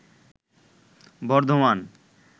Bardhaman